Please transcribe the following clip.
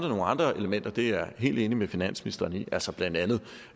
nogle andre elementer det er jeg helt enig med finansministeren i altså blandt andet